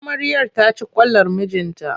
Amaryar ta ci kwalar mijinta.